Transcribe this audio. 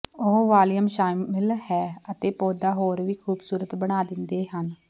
ਉਹ ਵਾਲੀਅਮ ਸ਼ਾਮਿਲ ਹੈ ਅਤੇ ਪੌਦਾ ਹੋਰ ਵੀ ਖੂਬਸੂਰਤ ਬਣਾ ਦਿੰਦੇ ਹਨ